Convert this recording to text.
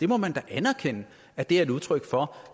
må da anerkende at det er udtryk for